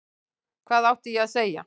Hvað átti ég að segja?